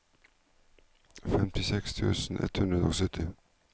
femtiseks tusen ett hundre og sytti